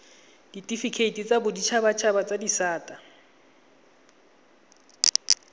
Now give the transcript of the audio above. ditifikeiti tsa boditshabatshaba tsa disata